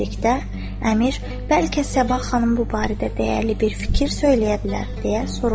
Əmir, bəlkə Səbah xanım bu barədə dəyərli bir fikir söyləyə bilər, deyə soruşdu.